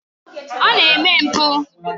Ọ na-eme mpụ.